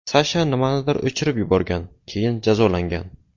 Sasha nimanidir o‘chirib yuborgan, keyin jazolangan.